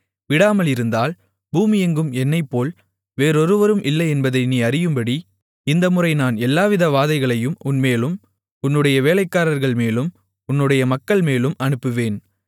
விடாமல் இருந்தால் பூமியெங்கும் என்னைப்போல் வேறொருவரும் இல்லை என்பதை நீ அறியும்படி இந்தமுறை நான் எல்லாவித வாதைகளையும் உன்மேலும் உன்னுடைய வேலைக்காரர்கள்மேலும் உன்னுடைய மக்கள்மேலும் அனுப்புவேன்